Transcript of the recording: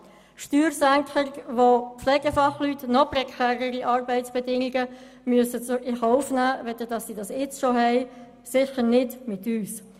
Steuersenkungen, wegen denen Pflegefachleute noch prekärere Arbeitsbedingungen in Kauf nehmen müssen als sie heute schon bestehen: sicher nicht mit uns.